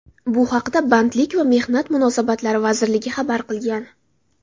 Bu haqda Bandlik va mehnat munosabatlari vazirligi xabar qilgan .